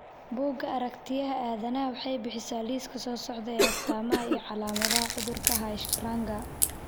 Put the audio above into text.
Bugga Aaragtiyaha Aadanaha waxay bixisaa liiska soo socda ee astamaha iyo calaamadaha cudurka Hirschsprunga.